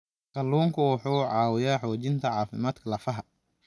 Kalluunku waxa uu caawiyaa xoojinta caafimaadka lafaha.